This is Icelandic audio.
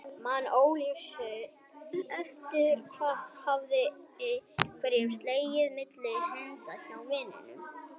Man óljóst eftir að hafa haft einhverja seðla milli handa inni hjá vininum.